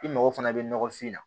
I mago fana bɛ nɔgɔfin na